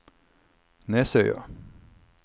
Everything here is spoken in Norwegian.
Nesøya